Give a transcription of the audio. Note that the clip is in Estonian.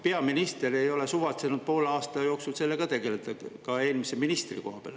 Peaminister ei ole suvatsenud poole aasta jooksul sellega tegeleda, ka eelmise ministrikoha peal.